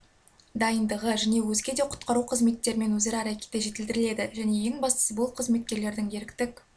дайындығы және өзге де құтқару қызметтерімен өзара әрекеті жетілдіріледі және ең бастысы бұл қызметкерлердің еріктік